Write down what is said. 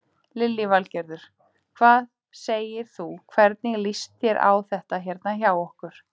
Lillý Valgerður: Hvað segir þú, hvernig líst þér á þetta hérna hjá okkur?